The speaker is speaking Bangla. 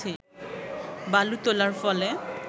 বালু তোলার ফলে